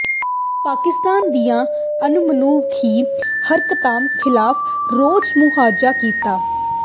ਪਾਕਿਸਤਾਨ ਦੀਆਂ ਅਣਮਨੁੱ ਖੀ ਹਰਕਤਾਂ ਖਿਲਾਫ਼ ਰੋਸ ਮੁਜ਼ਾਹਰਾ ਕੀਤਾ